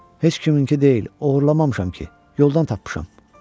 Heç kiminki deyil, oğurlamamışam ki, yoldan tapmışam.